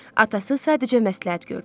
Atası sadəcə məsləhət gördü.